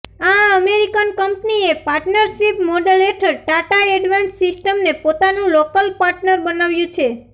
આ અમેરિકન કંપનીએ partnership model હેઠળ ટાટા એડવાન્સ સિસ્ટમને પોતાનું લોકલ પાર્ટનર બનાવ્યું છે